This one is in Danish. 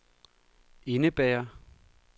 indebærer